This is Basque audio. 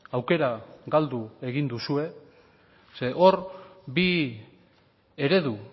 aukera galdu egin duzue zeren hor bi eredu